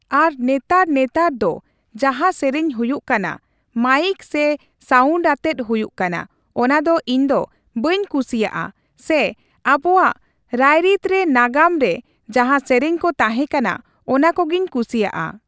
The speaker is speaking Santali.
ᱟᱨ ᱱᱮᱛᱟᱨ ᱱᱮᱛᱟᱨ ᱫᱚ ᱡᱟᱦᱟᱸ ᱥᱮᱨᱮᱧ ᱦᱩᱭᱩᱜ ᱠᱟᱱᱟ, ᱢᱟᱹᱭᱤᱠ ᱥᱮ ᱥᱟᱣᱩᱱᱰ ᱟᱛᱮᱜ ᱦᱩᱭᱩᱜ ᱠᱟᱱᱟ ᱚᱱᱟ ᱫᱚ ᱤᱧ ᱫᱚ ᱵᱟᱹᱧ ᱠᱩᱥᱤᱣᱟᱜᱼᱟ ᱾ᱥᱮ ᱟᱵᱚᱣᱟᱜ ᱨᱟᱹᱨᱤᱛ ᱨᱮ ᱱᱟᱜᱟᱢ ᱨᱮ ᱡᱟᱦᱟ ᱥᱮᱨᱮᱧ ᱠᱚ ᱛᱟᱦᱮᱸ ᱠᱟᱱᱟ ᱚᱱᱟ ᱠᱚᱜᱮᱧ ᱠᱩᱥᱤᱣᱟᱜᱼᱟ ᱾